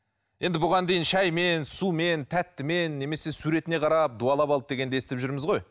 енді бұған дейін шаймен сумен тәттімен немесе суретіне қарап дуалап алды дегенді естіп жүрміз ғой